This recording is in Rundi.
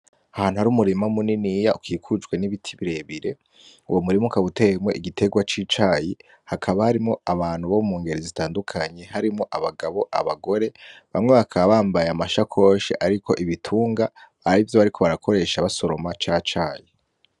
Ahantu hari umurima muniniya ukikujwe n'ibiti birebire. Uwo murima ukaba uteyemwo igiterwa c'icayi. Hakaba harimwo abantu bo mu ngeri zitandukanye harimwo abagabo, abagore. Bamwe bakaba bambaye amashakoshi ariko ibitunga, arivyo bariko barakoresha basoroma ca cayi.